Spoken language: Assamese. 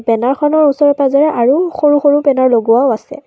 বেনাৰখনৰ ওচৰেপাজৰে আৰু সৰু সৰু বেনাৰ লগোৱাও আছে।